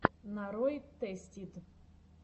нарой тэстид